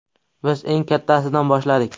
Biz eng kattasidan boshladik.